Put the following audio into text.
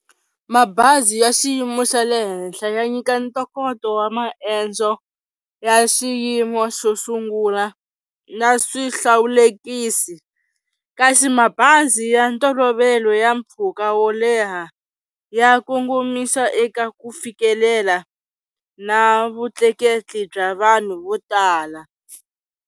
Mabazi ya xiyimo xa le henhla ya nyika ntokoto wa maendzo ya xiyimo xo sungula na swihlawulekisi, kasi mabazi ya ntolovelo ya mpfhuka wo leha ya kongomisa eka ku fikelela na vutleketli bya vanhu vo tala.